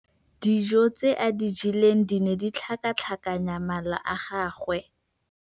Dijô tse a di jeleng di ne di tlhakatlhakanya mala a gagwe.